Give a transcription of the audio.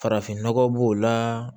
Farafin nɔgɔ b'o la